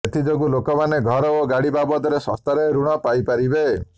ଏଥିଯୋଗୁଁ ଲୋକମାନେ ଘର ଓ ଗାଡ଼ି ବାବଦରେ ଶସ୍ତାରେ ଋଣ ପାଇପାରିବେ